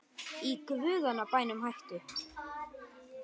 Í guðanna bænum hættu